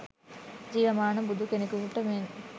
ජීවමාන බුදු කෙනෙකුන්ට මෙන්